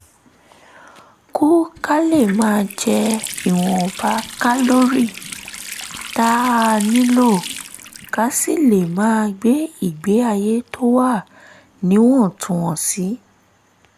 kù ka lè máa jẹ ìwọ̀nba kálórì tá a nílò ká sì lè máa gbé ìgbé ayé tó wà níwọ̀ntúnwọ̀nsì